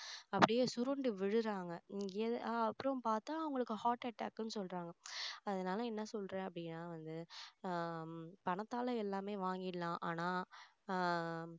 அப்படியே சுருண்டு விழுறாங்க இங்க~ அப்புறம் பார்த்தா அவங்களுக்கு heart attack ன்னு சொல்றாங்க அதனால என்ன சொல்றேன் அப்படினா வந்து ஆஹ் பணத்தால எல்லாமே வாங்கிடலாம் ஆனா ஆஹ்